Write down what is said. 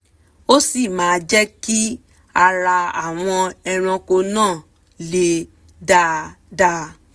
ó sì máa jẹ́ kí ara àwọn ẹrànko náà le dáadá